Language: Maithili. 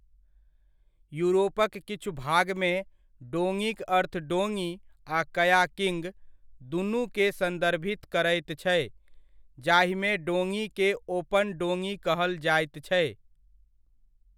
यूरोपक किछु भागमे, डोङीक अर्थ डोङी आ कयाकिंग, दुनुकेँ सन्दर्भित करैत छै, जाहिमे डोङीकेँ ओपन डोङी कहल जाइत छै।